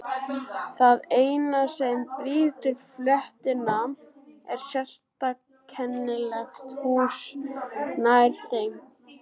Það eina sem brýtur fletina er sérkennilegt hús nær þeim.